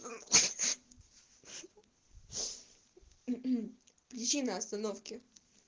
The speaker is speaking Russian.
причина остановки